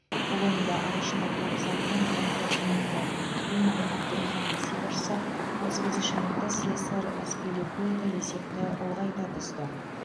бұл ойында ағылшындық клуб сапынан он тоғыз минутта тэмми абрахам есеп ашса отыз бесінші минутта сесар аспиликуэта есепті ұлғайта түсті